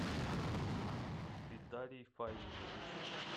виталий фаилович